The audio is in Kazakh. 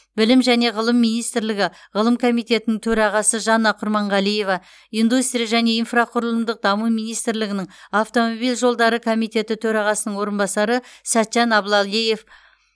білім және ғылым министрлігі ғылым комитетінің төрағасы жанна құрманғалиева индустрия және инфрақұрылымдық даму министрлігінің автомобиль жолдары комитеті төрағасының орынбасары сәтжан аблалгиев